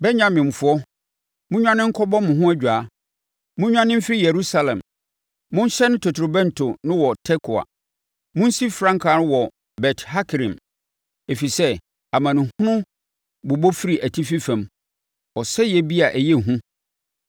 “Benyaminfoɔ monnwane nkɔbɔ mo ho adwaa! Monnwane mfiri Yerusalem! Monhyɛne totorobɛnto no wɔ Tekoa! Monsi frankaa no wɔ Bet-Hakerem! Ɛfiri sɛ amanehunu bobɔ firi atifi fam, ɔsɛeɛ bi a ɛyɛ hu.